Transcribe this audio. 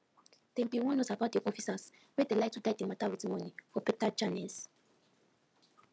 dem bin warn us about de officers wey dey like to die de mata with monie for beta channels